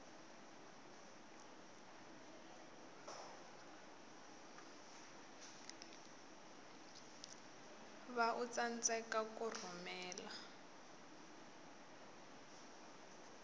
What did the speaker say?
va u tsandzeka ku rhumela